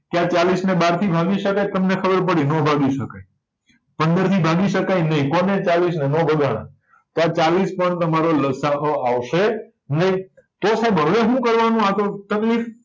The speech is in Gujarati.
કે આ ચાલીસને બારથી ભાગી શકાય તમને ખબર પડી ન ભાગી શકાય પંદરથી ભાગી શકાય નય કોને ચાલીસને નય નો ભગાના તો આ ચાલીસ પણ તમારો લસાઅ આવશે નય જો સાઈબ હવે શું કરવાનું આતો તકલીફ